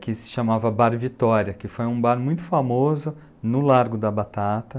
que se chamava Bar Vitória, que foi um bar muito famoso no Largo da Batata.